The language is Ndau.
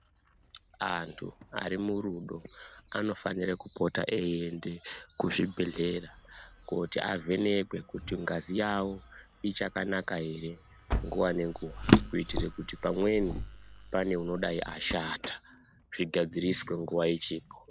Antu ari murudo anofanire kupota eienda kuzvibhedhlera, kooti avhenekwe, kuti ngazi yavo ichakanaka here nguwa nenguwa, kuitira kuti pamweni pane angadai ashata zvigadziriswe nguva ichiripo.